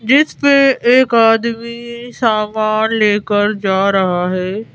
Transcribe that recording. जिस पे एक आदमी सामान लेकर जा रहा है।